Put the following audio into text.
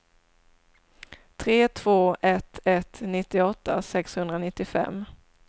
tre två ett ett nittioåtta sexhundranittiofem